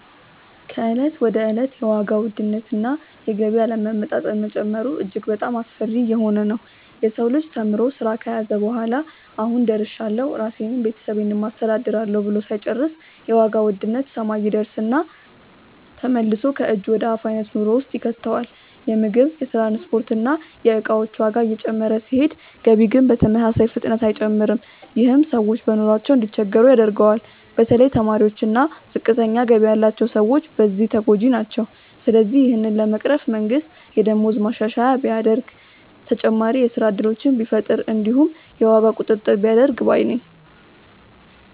ከእለት ወደ እለት የዋጋ ውድነት እና የገቢ አለመመጣጠን መጨመሩ እጅግ በጣሞ አስፈሪ እየሆነ ነዉ። የሰው ልጅ ተምሮ ስራ ከያዘ በኋላ "አሁን ደርሻለሁ ራሴንም ቤተሰቤንም አስተዳድራለሁ" ብሎ ሳይጨርስ የዋጋ ውድነት ሰማይ ይደርስና ተመልሶ ከእጅ ወደ አፍ አይነት ኑሮ ውስጥ ይከተዋል። የምግብ፣ የትራንስፖርት እና የእቃዎች ዋጋ እየጨመረ ሲሄድ ገቢ ግን በተመሳሳይ ፍጥነት አይጨምርም። ይህም ሰዎች በኑሯቸው እንዲቸገሩ ያደርገዋል። በተለይ ተማሪዎች እና ዝቅተኛ ገቢ ያላቸው ሰዎች በዚህ ተጎጂ ናቸው። ስለዚህ ይህንን ለመቅረፍ መንግስት የደሞዝ ማሻሻያ ቢያደርግ፣ ተጨማሪ የስራ እድሎችን ቢፈጥር እንዲሁም የዋጋ ቁጥጥር ቢያደርግ ባይ ነኝ።